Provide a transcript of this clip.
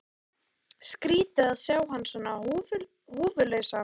Skrýtið að sjá hann svona húfulausan.